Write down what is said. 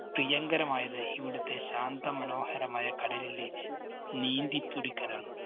പ്രിയങ്കരമായത് ഇവിടത്തെ ശാന്ത മനോഹരമായ കടലിലെ നീന്തി തുടിക്കലാണ്.